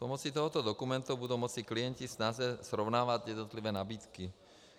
Pomocí tohoto dokumentu budou moci klienti snáze srovnávat jednotlivé nabídky.